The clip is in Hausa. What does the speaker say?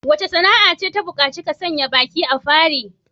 Wace sana'a ce ta bukaci ka sanya baki da fari?